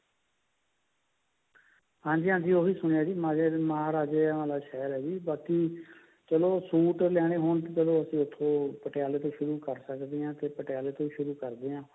ਹਾਂਜੀ ਹਾਂਜੀ ਉਹ ਵੀ ਸੁਣਿਆ ਜੀ ਰਾਜੇ ਮਹਾਰਾਜਿਆ ਆਲਾ ਸ਼ਹਿਰ ਹੈ ਜੀ ਬਾਕੀ ਚਲੋ suit ਲੈਨੇ ਹੋਣ ਚਲੋ ਅਸੀਂ ਉੱਥੋਂ ਪਟਿਆਲੇ ਤੋਂ ਸ਼ੁਰੂ ਕਰ ਸਕਦੇ ਹਾਂ ਤੇ ਪਟਿਆਲੇ ਤੋਂ ਸ਼ੁਰੂ ਕਰਦੇ ਹਾਂ